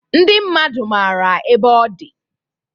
Ndị mmadu mara ebe ọdi.